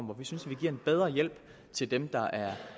hvor vi synes vi giver en bedre hjælp til dem der er